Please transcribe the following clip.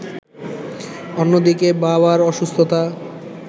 অন্যদিকে বাবার অসুস্থ্যতা